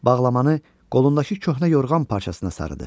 Bağlamanı qolundakı köhnə yorğan parçasına sarıdı.